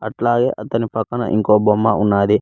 అట్లాగే అతని పక్కన ఇంకో బొమ్మ ఉన్నాది.